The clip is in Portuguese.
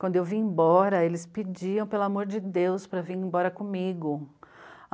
Quando eu vim embora, eles pediam, pelo amor de Deus, para vir embora comigo.